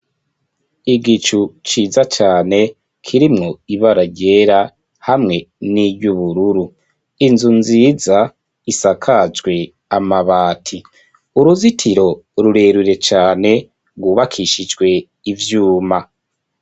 Igicu ciza cane kirimwo ibara ryera hamwe niryubururu inzu nziza isakajwe amabati uruzitiro rurerure cane rwubakishijwe ivyuma.